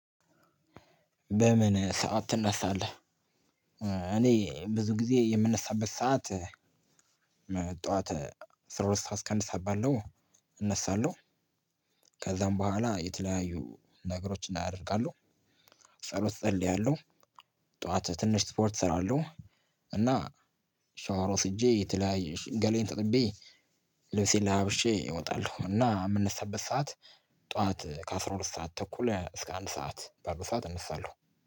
በምን ሰዓት ትነሳለህ እኔ ብዙ ጊዜ የምነሳበት ሰዓት ጠዋት አስር ሁለት ሰዓት አስከ አንድ ሰዓት ባለው እነሳለሁ። ከዛም በኋላ የተለያዩ ነገሮች እደርጋለሁ። ጸሎት እጸልያለሁ። ጠዋት ትንሽ ስፖርት እሰራለሁ። እና ሻወር ወስጄ የተላያዬ ገላዬን ታጥቤ ልብሴን ለባ ብሼ እወጣለሁ። እና የምንሳበት ሰዓት ጠዋት ከ አስራ ሁለት ሰዓት ተኩል እስከ አንድ ሰዓት ባለው ሰዓት እነሳለሁ።